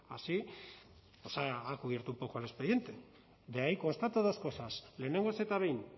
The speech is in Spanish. así ha cubierto un poco el expediente de ahí constato dos cosas lehenengoz eta behin